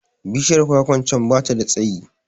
Bishiyar kwakwa can da bata da tsayi